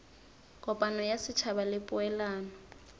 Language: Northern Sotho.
kopano ya setšhaba le poelano